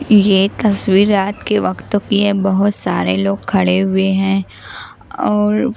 यह तस्वीर रात के वक्त की है बहुत सारे लोग खड़े हुए हैं और--